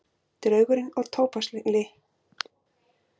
Draugurinn og tóbakskyllirinn